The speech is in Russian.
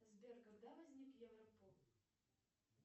сбер когда возник европол